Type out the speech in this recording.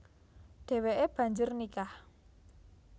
Déwéké banjur nikah